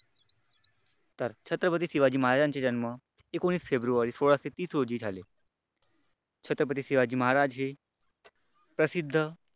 तर छत्रपती शिवाजी महाराजांचा जन्म एकोणविस फेब्रुवारी सोळाशे तीस रोजी झाले, छत्रपती शिवाजी महाराज हे प्रसिद्ध